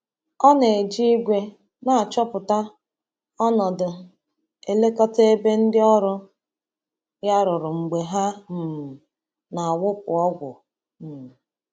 Ọ na-eji igwe na-achọpụta ọnọdụ elekọta ebe ndị ọrụ ya rụrụ mgbe ha um na-awụpụ ọgwụ. um